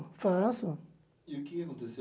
Faço E o que é que aconteceu?